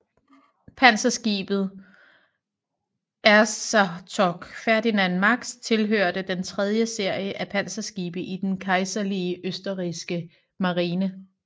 Panserskibet Erzherzog Ferdinand Max tilhørte den tredje serie af panserskibe til den kejserlige østrigske marine